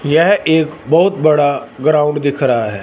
यह एक बहुत बड़ा ग्राउंड दिख रहा है।